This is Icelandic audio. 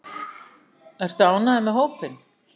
Ertu ánægður með hópinn?